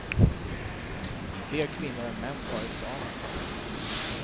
Fler kvinnor än män tar examen.